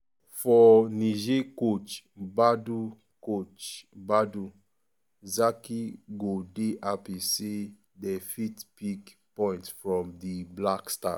for niger coach badou coach badou zaki go dey happy say dey fit pick um point from di black stars.